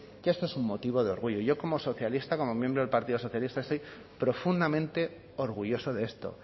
que esto es un motivo de orgullo yo como socialista como miembro del partido socialista estoy profundamente orgulloso de esto